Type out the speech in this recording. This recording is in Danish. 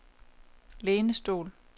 lænestol